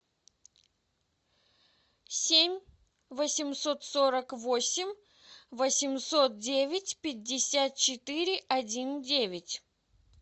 семь восемьсот сорок восемь восемьсот девять пятьдесят четыре один девять